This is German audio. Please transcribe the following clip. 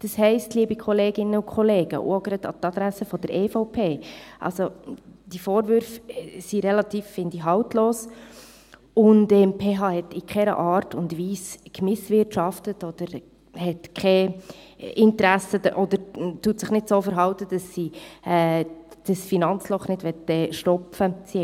Das heisst, liebe Kolleginnen und Kollegen, und auch gerade an die Adresse der EVP: Diese Vorwürfe sind relativ haltlos, wie ich finde, und die PH hat in keiner Art und Weise Misswirtschaft betrieben und verhält sich nicht so, dass sie dieses Finanzloch nicht stopfen will.